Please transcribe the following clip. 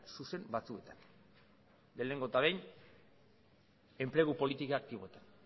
zuzen batzuetan lehenengo eta behin enplegu politika aktiboetan